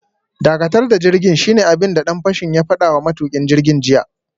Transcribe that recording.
Dakatar da jirgin, shine abin da dan fashin ya fada wa matukin jirgin jiya